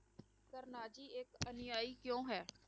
ਕਰਨਾਚੀ ਇੱਕ ਅਨੁਯਾਈ ਕਿਉਂ ਹੈ?